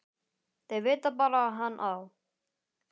Þau vita bara að hann á